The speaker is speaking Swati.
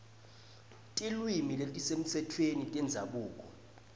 tilwimi letisemtsetfweni tendzabuko